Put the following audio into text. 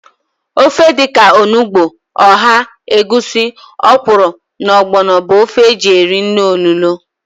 Ofe dịka onugbu, ọha, egwusi, ọkwụrụ na ọgbọnọ bụ ofe e ji eri nri olulo